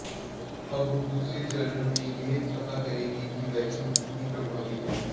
अब हम दूसरे चरण में यह पता करेंगे कि वैक्सीन कितनी प्रभावी है